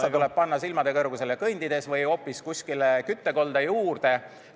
... kas ta tuleb panna silmade kõrgusele kõndides või hoopis kuskile küttekolde juurde?